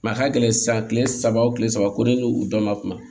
a ka gɛlɛn sisan kile saba wo kile saba ko ne n'u dɔn ma kuma